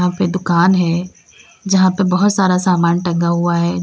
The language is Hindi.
यंहा पे दुकान है जहाँ पे बहोत सारा सामान टंगा हुआ है।